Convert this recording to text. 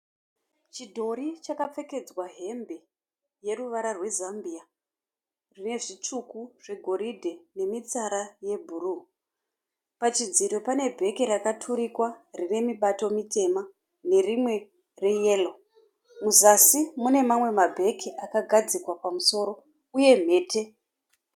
Chidhori chakapfekedzwa hembe yeruvara rwezambiya nezvitsvuku zvigoridhe nemitsara yebhuruu. Pachidziro pane bheke rakaturikwa rinemibato mitema nerimwe reyeroo. Musazi munemamwe mabheke akagadzikwa pamusoro uye mhete.